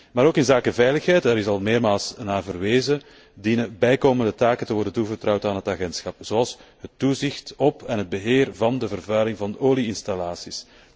Maar ook inzake veiligheid daar is al meermaals naar verwezen dienen bijkomende taken te worden toevertrouwd aan het agentschap, zoals het toezicht op en het beheer van de vervuiling door olie installaties.